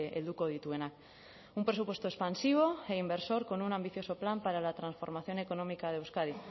helduko dituena un presupuesto expansivo e inversor con un ambicioso plan para la transformación económica de euskadi